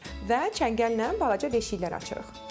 Və çəngəllə balaca deşiklər açırıq.